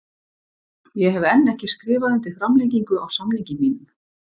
Ég hef enn ekki skrifað undir framlengingu á samningi mínum.